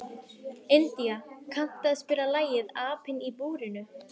India, kanntu að spila lagið „Apinn í búrinu“?